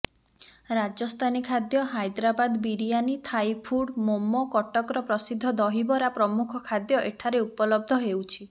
ରାଜସ୍ଥାନୀ ଖାଦ୍ୟ ହାଇଦ୍ରାବାଦ ବିରିୟାନୀ ଥାଇଫୁଡ ମୋମୋ କଟକର ପ୍ରସିଦ୍ଧ ଦହିବରା ପ୍ରମୁଖ ଖାଦ୍ୟ ଏଠାରେ ଉପଲବ୍ଧ ହେଉଛି